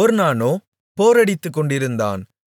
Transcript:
ஒர்னானோ போரடித்துக்கொண்டிருந்தான்